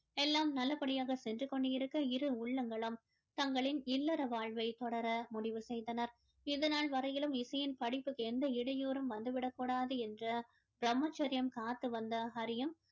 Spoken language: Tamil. எல்லாம் நல்லபடியாக சென்று கொண்டிருக்க இரு உள்ளங்களும் தங்களின் இல்லற வாழ்வை தொடர முடிவு செய்தனர் இது நாள் வரையிலும் இசையின் படிப்புக்கு எந்த இடையூறும் வந்துவிடக் கூடாது என்று பிரம்மச்சரியம் காத்து வந்த ஹரியும்